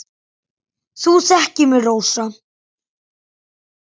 Þú þekkir mig, Rósa.